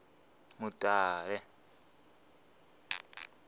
mutale